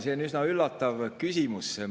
See on üsna üllatav küsimus.